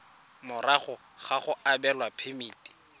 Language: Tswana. morago ga go abelwa phemiti